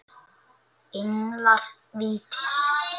Englar vítis